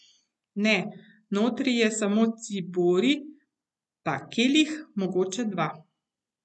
Ne, notri je samo ciborij, pa kelih, mogoče dva.